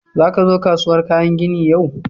Za ka zo kasuwar kayan ginin yau?